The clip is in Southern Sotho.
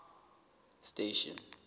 station